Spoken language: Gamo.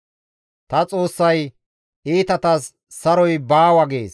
Ta Xoossay, «Iitatas saroy baawa» gees.